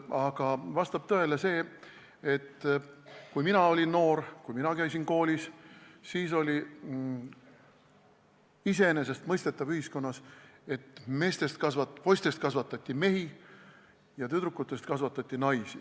Aga vastab tõele, et kui mina olin noor ja käisin koolis, siis oli ühiskonnas iseenesestmõistetav, et poistest kasvatati mehi ja tüdrukutest kasvatati naisi.